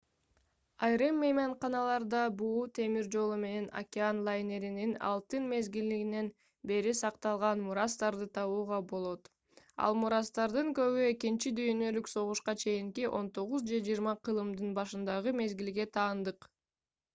айрым мейманкаларда буу темир жолу менен океан лайнерлеринин алтын мезгилинен бери сакталган мурастарды табууга болот. ал мурастардын көбү экинчи дүйнөлүк согушка чейинки 19- же 20-кылымдын башындагы мезгилге таандык